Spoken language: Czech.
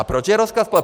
A proč je rozklad?